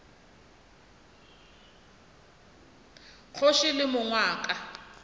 kgoši le mong wa ka